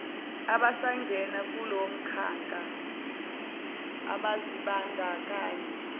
abasangena kulomkhakha abazibandakanya